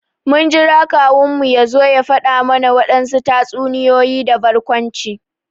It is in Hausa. Mun jira kawun mu ya zo ya fada mana wadansu tatsuniyoyi da barkwanci.